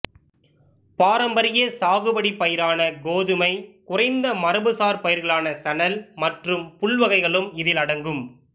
பாரம்பரிய சாகுபடிப்பயிரான கோதுமை குறைந்த மரபுசார் பயிர்களான சணல் மற்றும் புல்வகைகளும் இதில் அடங்கும்